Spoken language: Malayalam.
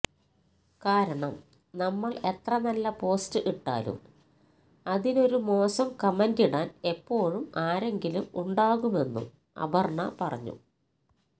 കാരണം നമ്മൾ എത്ര നല്ല പോസ്റ്റ് ഇട്ടാലും അതിനൊരു മോശം കമന്റിടാൻ എപ്പോഴും ആരെങ്കിലും ഉണ്ടാകുമെന്നും അപര്ണ പറഞ്ഞു